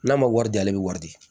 N'a ma wari di ale bi wari di